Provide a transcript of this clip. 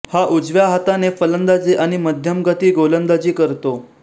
हा उजव्या हाताने फलंदाजी आणि मध्यमगती गोलंदाजी करतो